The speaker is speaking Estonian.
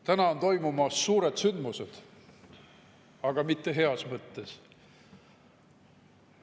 Täna on toimumas suured sündmused, aga mitte heas mõttes.